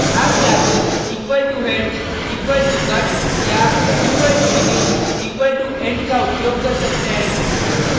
आप या तो =head =cut या =begin =end का उपयोग कर सकते हैं